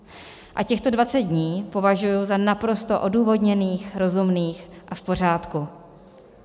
A těchto 20 dní považuji za naprosto odůvodněných, rozumných a v pořádku.